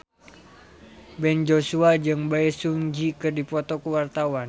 Ben Joshua jeung Bae Su Ji keur dipoto ku wartawan